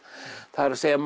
það er